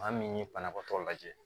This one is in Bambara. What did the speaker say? Maa min ye banabaatɔ lajɛ